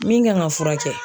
Min kan ka furakɛ.